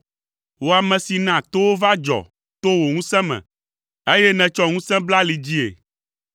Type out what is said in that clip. Wò ame si na towo va dzɔ to wò ŋusẽ me, eye nètsɔ ŋusẽ bla ali dzii,